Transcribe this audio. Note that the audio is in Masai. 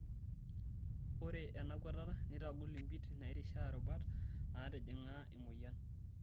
Ore ena kuatata neitagol mpit nairishaa rubat naatijing'a emoyian.